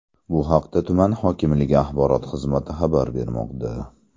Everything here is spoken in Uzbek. Bu haqda tuman hokimligi axborot xizmati xabar bermoqda.